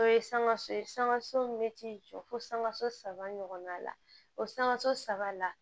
O ye sankaso ye sangaso min bɛ t'i jɔ fo sankaso saba ɲɔgɔnna la o sankaso saba la